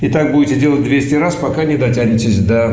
и так будете делать двести раз пока не дотянетесь до